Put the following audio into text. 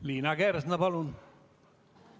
Liina Kersna, palun!